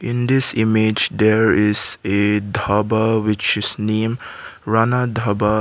in this image there is a dhaba which is name rana dhaba.